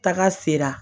Taga sera